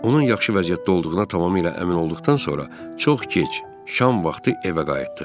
Onun yaxşı vəziyyətdə olduğuna tamamilə əmin olduqdan sonra çox gec şam vaxtı evə qayıtdıq.